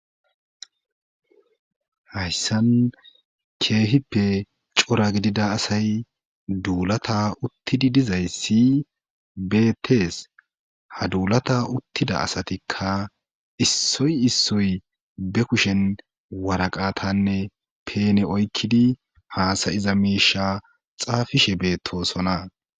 hayssan keehippe cora gidida asay duulata uttidi dizay siy beettees ha duulata uttida asatikka issoy issoy be kushen waraqatanne peene oykkidi haasayiza miisha xaafishe beettosona